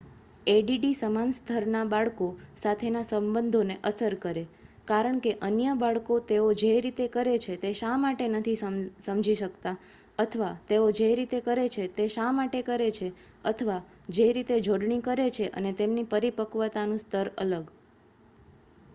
એડીડી સમાન સ્તરના બાળકો સાથેના સંબંધોને અસર કરે કારણ કે અન્ય બાળકો તેઓ જે રીતે કરે છે તે શા માટે નથી સમજી શકતા અથવા તેઓ જે રીતે કરે છે તે શા માટે કરે છે અથવા જે રીતે જોડણી કરે છે અને તેમની પરિપક્વતાનું સ્તર અલગ